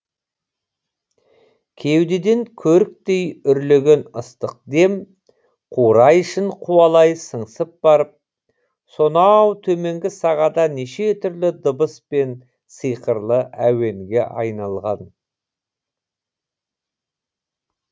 кеудеден көріктей үрлеген ыстық дем қурай ішін қуалай сыңсып барып сонау төменгі сағада неше түрлі дыбыс пен сиқырлы әуенге айналған